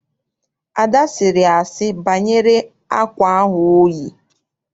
Ada sịrị asị banyere akwa ahụ oyi.